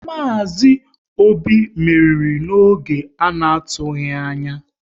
Maazi Obi meriri n'oge ana tubaghi anya